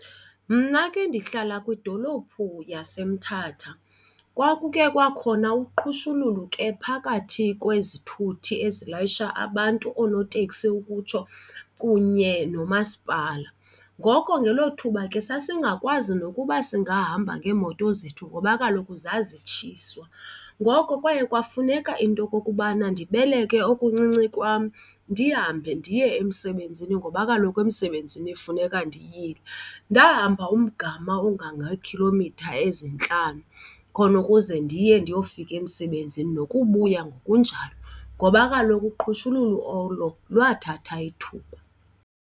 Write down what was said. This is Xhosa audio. Mna ke ndihlala kwidolophu yaseMthatha. Kwakukhe kwakhona uqhushululo ke phakathi kwezithuthi ezilayisha abantu, oonoteksi ukutsho, kunye nomasipala. Ngoko ngelo thuba ke sasingakwazi nokuba singahamba ngeemoto zethu ngoba kaloku zazitshiswa. Ngoko kwaye kwafuneka into yokokubana ndibeleke okuncinci kwam ndihambe ndiye emsebenzini ngoba kaloku emsebenzini kufuneka ndiyile. Ndahamba umgama ongangeekhilomitha ezintlanu khona ukuze ndiye ndiyofika emsebenzini nokubuya ngokunjalo ngoba kaloku uqhushulusu olo lwathatha ithuba.